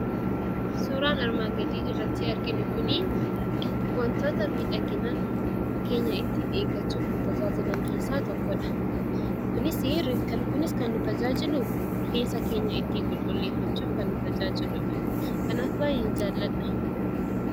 Suuraan armaan gadii irratti arginu kun, wantoota miidhagina keenya ittiin eeggachuuf nu tajaajilan keessaa tokkodha. kunis kan nu tajaajilu, rifeensa keenya ittiin qulqulleeffachuuf kan nu tajaajiludha. Kanaaf baay'een jaaladha.